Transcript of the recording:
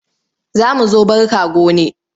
Za mu zo barka gone.